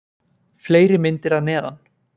Fleiri myndir að neðan: